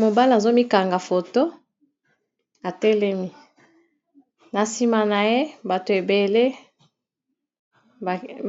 Mobala azomikanga foto etelemi, na sima na ye